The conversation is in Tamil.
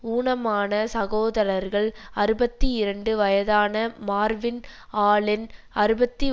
ஊனமான சகோதரர்கள் அறுபத்தி இரண்டு வயதான மார்வின் ஆலென் அறுபத்தி